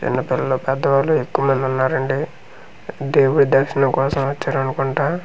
చిన్నపిల్లలు పెద్దవాళ్ళు ఎక్కువ మంది ఉన్నారండి దేవుడి దర్శనం కోసం వచ్చారనుకుంట.